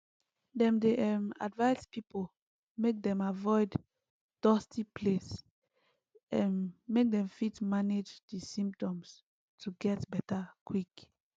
dem dey um advise pipo make dem avoid dusty place um make dem fit manage di symptoms to get beta quick